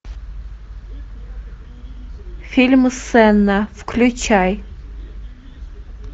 фильм сенна включай